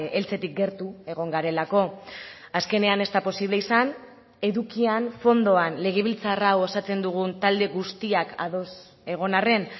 heltzetik gertu egon garelako azkenean ez da posible izan edukian fondoan legebiltzar hau osatzen dugun talde guztiak ados egon arren